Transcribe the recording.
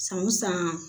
San o san